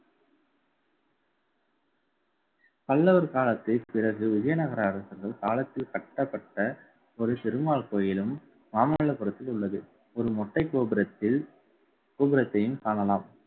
பல்லவர் காலத்தில் பிறகு விஜயநகர அரசர்கள் காலத்தில் கட்டப்பட்ட, ஒரு திருமால் கோயிலும் மாமல்லபுரத்தில் உள்ளது. ஒரு மொட்டை கோபுரத்தில் கோபுரத்தையும் காணலாம்